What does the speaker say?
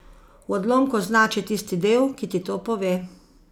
V odlomku označi tisti del, ki ti to pove.